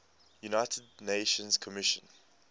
united nations commission